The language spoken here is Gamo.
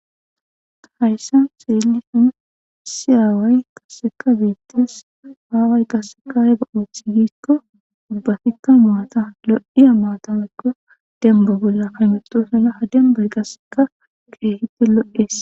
Hayssan xellishin issi away qasseka bettes away qaseka aybba othi giiko ubbatika maata lo7iya maata woyko demba bolla hametosona ha dembay qaseka kehippe lo7es.